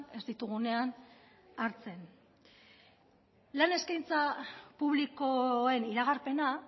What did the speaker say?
ez ditugunean hartzen lan eskaintza publikoen iragarpena